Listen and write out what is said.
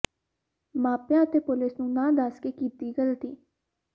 ਮਾਪਿਆਂ ਅਤੇ ਪੁਲਿਸ ਨੂੰ ਨਾ ਦੱਸ ਕੇ ਕੀਤੀ ਗਲਤੀ